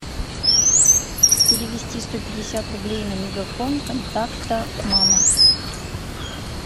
перевести сто пятьдесят рублей на мегафон контакта мама